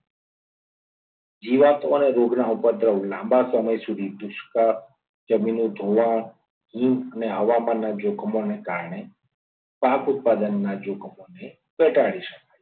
અને પ્રતિકૂળ હવામાન માટે ગોઠવાણું કરી શકાય. જીવાતો અને રોગના ઉપદ્રવ લાંબા સમય સુધી દુષ્કાળ જમીન ધોવાણ હવામાનના જોખમ અને કારણે પાક ઉત્પાદનના જોખમ ને ઘટાડી શકાય છે.